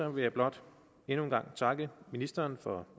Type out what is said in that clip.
vil jeg blot endnu en gang takke ministeren for